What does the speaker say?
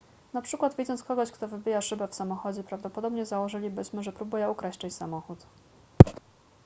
na przykład widząc kogoś kto wybija szybę w samochodzie prawdopodobnie założylibyśmy że próbuje ukraść czyjś samochód